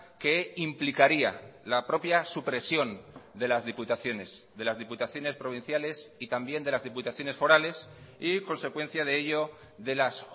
que implicaría la propia supresión de las diputaciones de las diputaciones provinciales y también de las diputaciones forales y consecuencia de ello de las